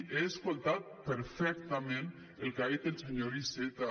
he escoltat perfectament el que ha dit el senyor iceta